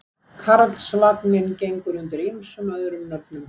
Karlsvagninn gengur undir ýmsum öðrum nöfnum.